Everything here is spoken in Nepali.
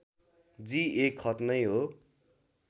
जी १ खत नै हो